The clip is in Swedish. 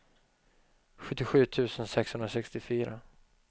sjuttiosju tusen sexhundrasextiofyra